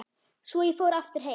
Svo ég fór aftur heim.